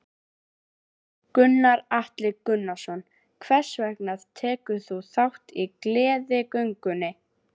Gunnar Atli Gunnarsson: Hvers vegna tekur þú þátt í Gleðigöngunni?